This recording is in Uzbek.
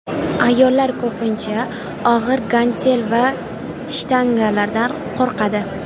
Ayollar ko‘pincha og‘ir gantel va shtangalardan qo‘rqadi.